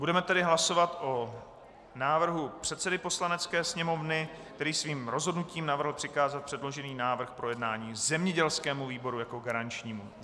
Budeme tedy hlasovat o návrhu předsedy Poslanecké sněmovny, který svým rozhodnutím navrhl přikázat předložený návrh k projednání zemědělskému výboru jako garančnímu.